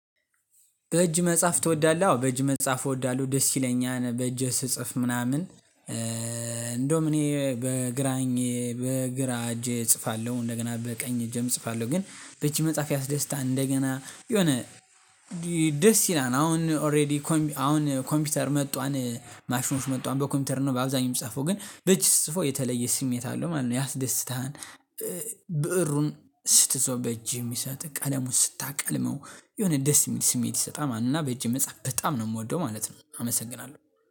በእጅ መጻፍ ትወዳለህ? አዎ በእጅ መጻፍ እወዳለሁ ደስ ይለኛል በእጅ ስጽፍ ምናምን እንደውም እኔ በግራኝ በግራ እጄ እጽፋለሁ እንደገና በቀኝ እጄ እጽፋለሁ ግን በእጅ መጻፍ ያስደስታል። እንደገና የሆነ ደስ ይላል አሁን ኦሬዲ አሁን ኮምፒውተር መጥቷን ማሽኖች መጥቷን በኮምፒውተር ነው በአብዛኛው የምጽፈው ግን በእጅ ስትፅፈው የተለየ ስሜት አለው ማለት ነው። ያስደስትሃል ብእሩን ስትዘው በእጅ የሚሰጥህ ቀለሙን ስታቀልመው የሆነ ደስ የሚል ስሜት ይሰጣል ማለት ነው። እና በእጄ መጻፍ በጣም ነው የምወደው ማለት ነው። አመሰግናለሁ